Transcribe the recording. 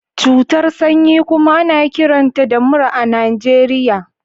Cutar sanyi kuma ana kiranta da mura a Najeriya